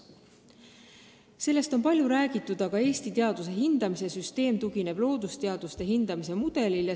Sellest on palju räägitud, et Eesti teaduse hindamise süsteem tugineb loodusteaduste hindamise mudelile.